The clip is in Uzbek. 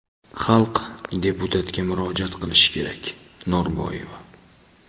xalq deputatga murojaat qilishi kerak – Norboyeva.